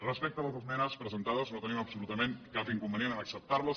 respecte a les esmenes presentades no tenim absolutament cap inconvenient a acceptar les